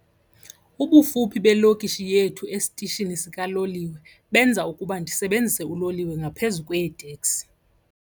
Ubufuphi belokishi yethu esitishini sikaloliwe benza ukuba ndisebenzise uloliwe ngaphezu kweeteksi.